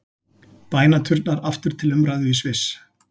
Bænaturnar aftur til umræðu í Sviss